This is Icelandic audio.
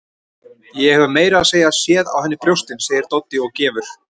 Ég hef meira að segja séð á henni brjóstin, segir Doddi og gefur